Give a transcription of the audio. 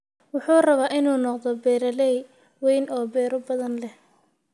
Wuxuu rabaa inuu noqdo beeraley weyn oo beero badan leh.